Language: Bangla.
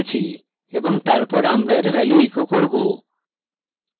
এবং তারপর আমরা এর value echo করব